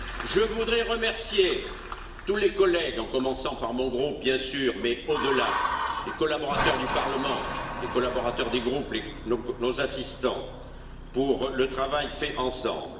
Je voudrais remercier tous les collègues, en commençant par mon groupe, bien sûr, mais au delà, les collaborateurs du Parlement, les collaborateurs des groupes et nos assistants, pour le travail fait ensemble.